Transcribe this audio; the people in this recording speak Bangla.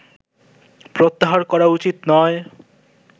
প্রত্যাহার করা উচিত নয়